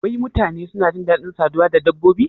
Wai mutane suna jin dadin saduwa da dabbobi?